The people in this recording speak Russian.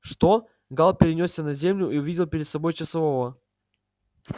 что гаал перенёсся на землю и увидел перед собой часового